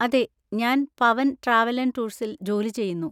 അതെ, ഞാൻ Pavan travel and ടൂർസിൽ ജോലി ചെയ്യുന്നു.